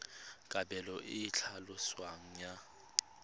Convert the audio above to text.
kabelo e e tlhaloswang ya